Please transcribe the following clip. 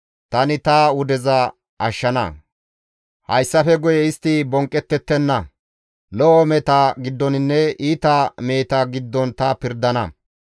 tani ta wudeza ashshana; hayssafe guye istta bonqqettettenna; lo7o meheta giddoninne iita meheta giddon ta pirdana.